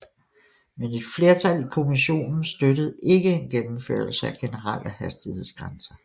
Men et flertal i kommissionen støttede ikke en gennemførelse af generelle hastighedsgrænser